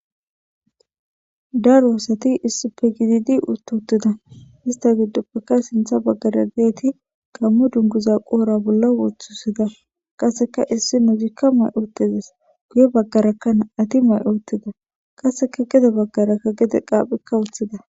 dar woosati issipe gididi ututtida hista giddoppekka sintha baggara geeti gammo dunguza qoora bolla woththusida qaseka issi nuudikka may urtezes guye baggaraka na7ati may urtida qaseka gede baggaraka gede qaaphekka wuthida